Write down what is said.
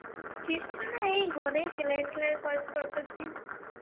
কিছু না, এই ঘরেই সেলাই টেলাইর কাজ করতাসি.